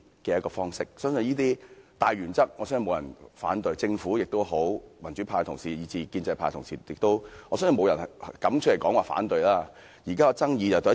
我相信這些大原則沒有人反對，不論政府、民主派同事以至建制派同事，我相信沒有人敢表示反對。